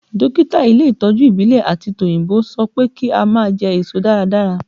Dókítà ilé ìtọ́jú ìbílẹ̀ àti tòyìnbó sọ pé kí a máa jẹ èso dáradára